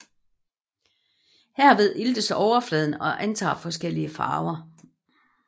Herved iltes overfladen og antager forskellige farver